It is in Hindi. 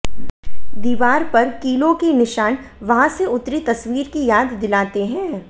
दीवार पर कीलों के निशान वहां से उतरी तस्वीर की याद दिलाते हैं